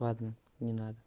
ладно не надо